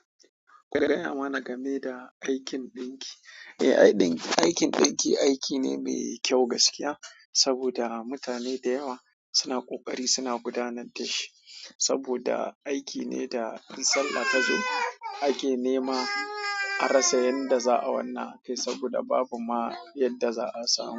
Gaya mana game da aikin ɗinki. Eh, aikin ɗinki aiki ne mai kyau gaskiya saboda mutane da yawa suna ƙoƙari suna gudanar da shi saboda aiki ne da in sallah ta zo ake nema a rasa yanda za yi wannan aikin saboda babu ma yadda za a samu.